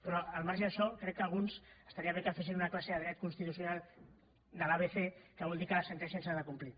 però al marge d’això crec que alguns estaria bé que fessin una classe de dret constitucional de l’abecé que vol dir que les sentències s’han de complir